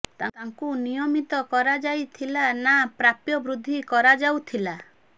ତାଙ୍କୁ ନା ନିୟମିତ କରାଯାଇଥିଲା ନା ପ୍ରାପ୍ୟ ବୃଦ୍ଧି କରାଯାଉଥିଲା